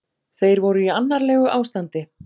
Þeir voru í annarlegu ástandi